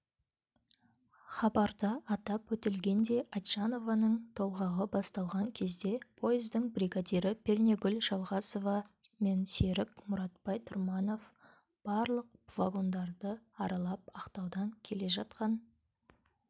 хабарда атап өтілгендей айтжанованың толғағы басталған кезде пойыздың бригадирі пернегүл жалғасова мен жолсерік мұратбай тұрманов барлық вагондарды аралап ақтаудан келе жатқан